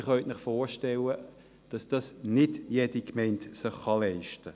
Sie können sich aber vorstellen, dass sich dies nicht jede Gemeinde leisten kann.